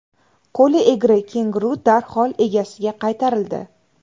Qo‘li egri kenguru darhol egasiga qaytarildi.